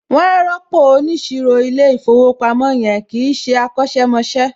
Wọn á rọ́pò óniṣirò ilé ìfowópamọ́ yẹn, kìí ṣé akọ̀sẹ̀ mọṣẹ́